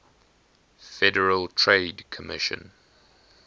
federal trade commission